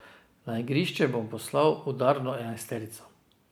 Na igrišče bom poslal udarno enajsterico.